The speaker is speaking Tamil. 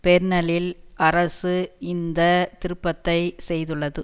பெர்னலில் அரசு இந்த திருப்பத்தை செய்துள்ளது